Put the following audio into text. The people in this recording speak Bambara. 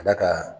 Ka d'a kan